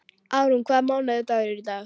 Árún, hvaða mánaðardagur er í dag?